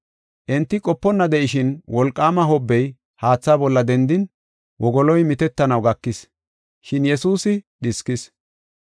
Enti qoponna de7ishin, wolqaama hobbey haatha bolla dendin wogoloy mitettanaw gakis. Shin Yesuusi dhiskis.